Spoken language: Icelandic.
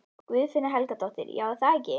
Guðfinna Helgadóttir: Já, er það ekki?